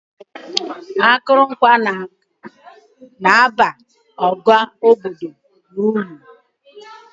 Akụrụngwa na-abara ọha obodo uru.